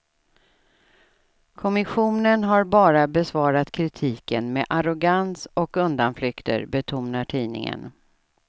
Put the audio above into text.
Kommissionen har bara besvarat kritiken med arrogans och undanflykter, betonar tidningen.